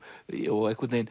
og einhvern veginn